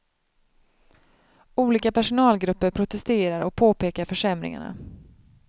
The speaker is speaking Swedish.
Olika personalgrupper protesterar och påpekar försämringarna.